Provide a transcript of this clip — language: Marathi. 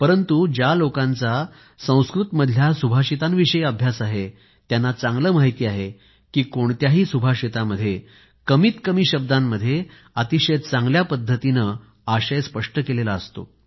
परंतु ज्या लोकांचा संस्कृतमधल्या सुभाषितांविषयी अभ्यास आहे त्यांना चांगलं माहिती आहे की कोणत्याही सुभाषितामध्ये कमीत कमी शब्दांमध्ये अतिशय चांगल्या पद्धतीने आशय स्पष्ट केला गेलेला असतो